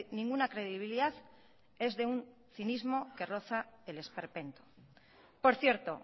ninguna credibilidad es de un cinismo que roza el esperpento por cierto